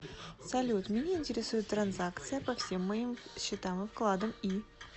салют меня интересует транзакция по всем моим счетам и вкладом и